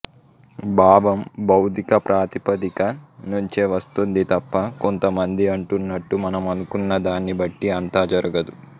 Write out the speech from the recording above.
భావం భౌతిక ప్రాతిపదిక నుంచే వస్తుంది తప్ప కొంతమంది అంటున్నట్టు మనం అనుకున్నదాన్ని బట్టి అంతా జరగదు